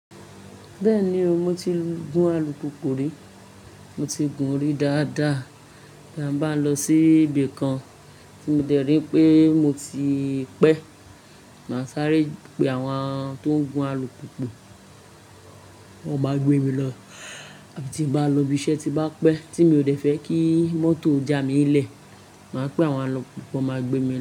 Bẹ́ẹ̀ni o, mo ti gun alùpùpù rí, mo ti gùn-ún rí dáadáa. Táa bá ń lọ sí ibì kan tí mo dẹ̀ rí pé mo ti pẹ́, màá sáré pe àwọn tó ń gun alùpùpù wọn máa ń gbé mi lọ. Tí n bá ń lọ'bi iṣẹ́ tí n bá pẹ́ tí mi ò dẹ̀ fẹ́ kí mọ́tò já mi'ílẹ̀, màá pe àwọn alùpùpù wọ́n máa gbé mi lọ.